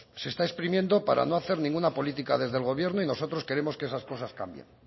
se está exprimiendo para no hacer ninguna política desde el gobierno y nosotros queremos que esas cosas cambien